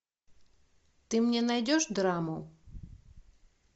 ты мне найдешь драму